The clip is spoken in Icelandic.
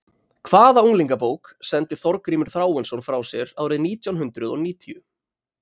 Hvaða unglingabók, sendi Þorgrímur Þráinsson frá sér árið nítjánhundruð og níutíu?